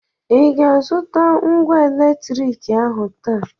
ị ga-azụta ngwa eletriki ahụ taa